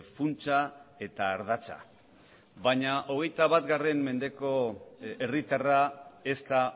funtsa eta ardatza baina hogeita bat mendeko herritarra ez da